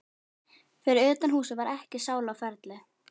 Fyrir utan húsið var ekki sála á ferli.